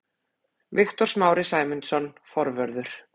Viktor Smári Sæmundsson, forvörður.